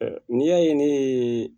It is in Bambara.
N'i y'a ye ne ye